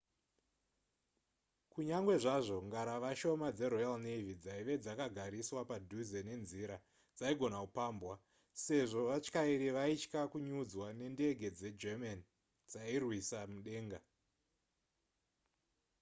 kunyangwe zvazvo ngarava shoma dzeroyal navy dzaive dzakagariswa padhuze nenzira dzaigona kupambwa sezvo vatyairi vaitya kunyudzwa nendege dzegerman dzairwisa mudenga